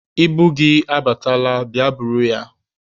Ibu gị abatala, bịa buru ya.